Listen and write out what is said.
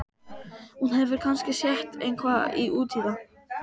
Hún hefur kannski sett eitthvað út í það.